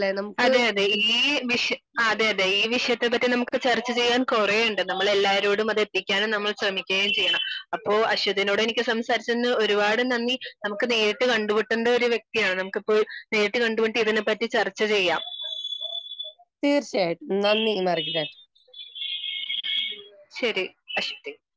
അതെയതെ ഈ , ആ അതെയതെ ഈ വിഷയത്തെ പറ്റി നമുക്ക് ചർച്ച ചെയ്യാൻ കുറെയുണ്ട് നമ്മൾ എല്ലാരോടും അത് എത്തിക്കാനും നമ്മൾ ശ്രമിക്കുകയും ചെയ്യണം. അപ്പോ അശ്വതിനോട് എനിക്ക് സംസാരിച്ചതിന് ഒരുപാട് നന്ദി. നമുക്ക് നേരിട് കണ്ടുമുട്ടേണ്ട ഒരു വ്യക്തിയാണ്. നമുക്ക് ഇപ്പോ നേരിട്ട് കണ്ടുമുട്ടി ഇതിനെ പറ്റി ചർച്ച ചെയ്യാം. ശരി അശ്വതി